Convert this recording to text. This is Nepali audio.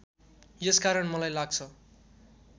यसकारण मलाई लाग्छ